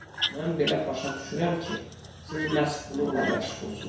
Mən belə başa düşürəm ki, siz məhz bununla məşğulsunuz.